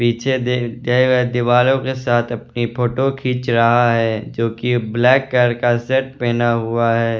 पीछे गए दीवारों के साथ अपनी फोटो खींच रहा है जो कि ब्लैक कलर का सेट पहना हुआ है।